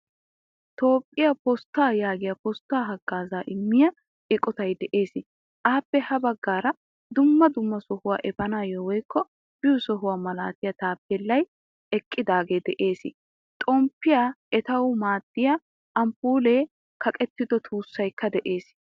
Toophphiyaa postta yaagiyaa postta haggaazza immiya eqqottay de'ees' Appe ha baggaara dumma dumma sohuwaa efaanawu woykko biyo sohuwaa malatiyaa taapelay eqqidage de'ees. Xomppiyaa eettanawu maadiyaa amppulle kaqqetto tuusaykka de.ees.